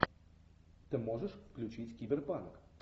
ты можешь включить киберпанк